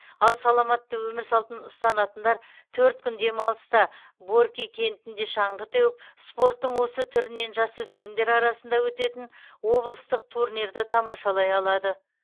ал саламатты өмір салтын ұстанатындар төрт күн демалыста борки кентінде шаңғы теуіп спорттың осы түрінен жасөспірімдер арасында өтетін облыстық турнирді тамашалай алады